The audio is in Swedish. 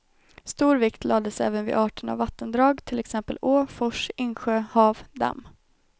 Stor vikt lades även vid arten av vattendrag, till exempel å, fors, insjö, hav, damm.